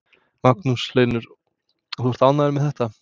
Magnús Hlynur: Og ert þú ánægður með þetta?